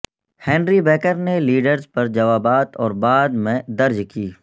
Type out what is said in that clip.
Henry Baker نے Leeds پر جوابات اور بعد میں درج کی